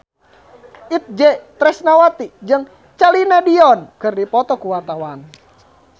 Itje Tresnawati jeung Celine Dion keur dipoto ku wartawan